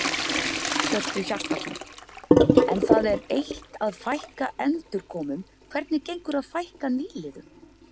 Hjörtu Hjartarson: En það er eitt að fækka endurkomum, hvernig gengur að fækka nýliðum?